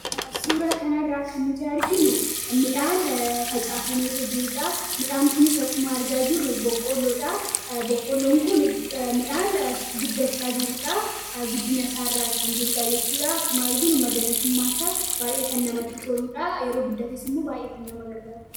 suuraa kanaarraa kan nuti arginu idhaan facaafameetoo jiruudha midhaan kun isa kkuma argaa jiru boqqolloonmidhaan guddachaa jiruudha guddina saairra kan jiruudha jechuudha akkuma arginu magariisummaas baay'ee kan namatti toluudhaa yeroo guddaakessu immoo baayee kan nama gargaaru